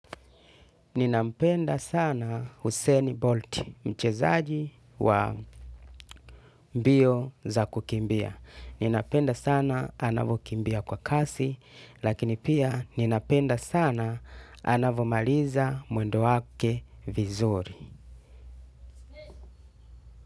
Ninapenda sana Husseni Bolt mchezaji wa mbio za kukimbia. Ninapenda sana anavyokimbia kwa kasi lakini pia ninapenda sana anavyomaliza mwendo wake vizuri.